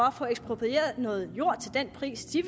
at få eksproprieret noget jord til den pris de